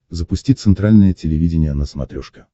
запусти центральное телевидение на смотрешке